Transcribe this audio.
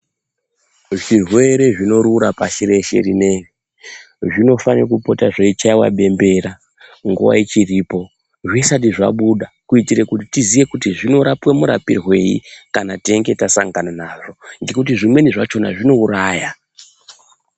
Zvirwere zvinorura pashi reshe rineri zvinofane kupota zveichaiwa bembera nguwa ichiripo zvisati zvabuda kuitire kuti tiziye kutizvinorapwa murapirwei kana teinge tasangana nazvo ngekuti zvimweni zachona zvinouraya